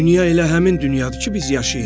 Dünya elə həmin dünyadır ki, biz yaşayırıq.